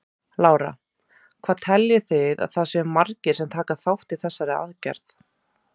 Lára: Hvað teljið þið að það séu margir sem taka þátt í þessari aðgerð?